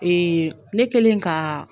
ne kelen ka